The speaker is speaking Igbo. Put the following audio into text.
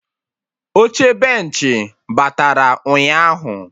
Oche benchị batara ụnyaahụ